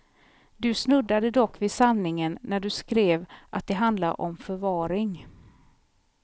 Du snuddade dock vid sanningen när du skrev att det handlar om förvaring.